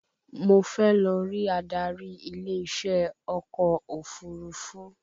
Mo fẹ́ lọ rí adarí ilé iṣẹ́ ọkọ̀ òfurufú